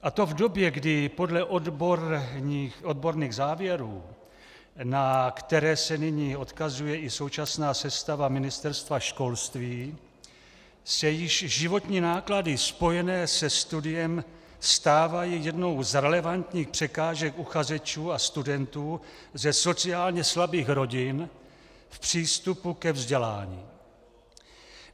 A to v době, kdy podle odborných závěrů, na které se nyní odkazuje i současná sestava Ministerstva školství, se již životní náklady spojené se studiem stávají jednou z relevantních překážek uchazečů a studentů ze sociálně slabých rodin v přístupu ke vzdělání.